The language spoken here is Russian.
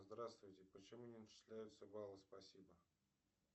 здравствуйте почему не начисляются баллы спасибо